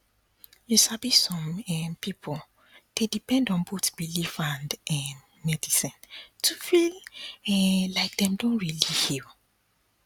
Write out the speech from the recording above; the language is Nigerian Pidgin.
you sabi some um pipo dey depend on both belief and um medicine to feel um like dem don really heal